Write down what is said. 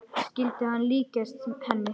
Skyldi hún líkjast henni?